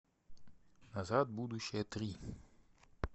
назад в будущее три